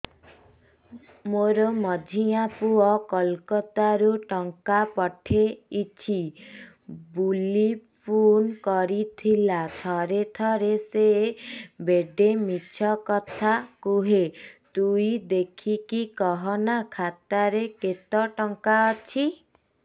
ମୋର ମଝିଆ ପୁଅ କୋଲକତା ରୁ ଟଙ୍କା ପଠେଇଚି ବୁଲି ଫୁନ କରିଥିଲା ଥରେ ଥରେ ସିଏ ବେଡେ ମିଛ କଥା କୁହେ ତୁଇ ଦେଖିକି କହନା ଖାତାରେ କେତ ଟଙ୍କା ଅଛି